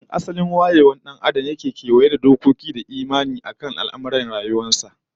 Tun asalin wayewar dan Adam yake kewaye da dokoki da imani akan rayuwar sa